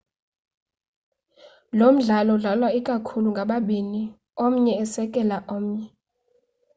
lomdlalo udlalwa ikakhulu ngababini omnye esekela omnye